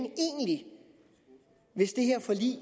hvis det her forlig